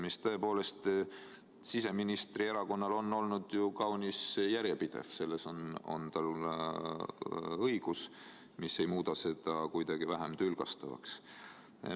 See suhtumine on siseministri erakonnal olnud tõepoolest ju kaunis järjepidev ja selleks on tal õigus, mis aga ei muuda seda kuidagi vähem tülgastavaks.